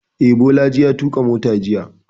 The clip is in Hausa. Eh, Bolaji ya tuƙa mota jiya